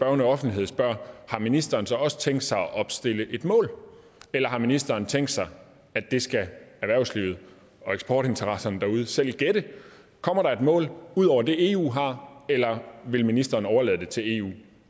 offentlighed spørger har ministeren så også tænkt sig at opstille et mål eller har ministeren tænkt sig at det skal erhvervslivet og eksportinteresserne derude selv gætte kommer der et mål ud over det eu har eller vil ministeren overlade det til eu